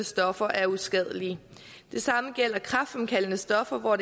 stoffer er uskadelige det samme gælder kræftfremkaldende stoffer hvor